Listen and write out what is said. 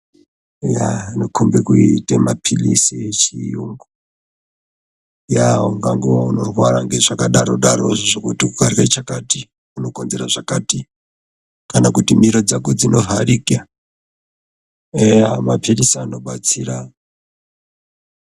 Aya anokombe kuite maphilizi echiyungu. Eya ungangova unorwara ngezvakadaro-darozvo zvokuti ukarye chakati unokonzera zvakati. Kana kuti miro dzako dzinovharika. Eya maphilizi anobatsira.